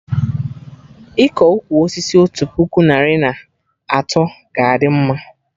Iko ụkwụ osisi otu puku narị na atọ ga-adị mma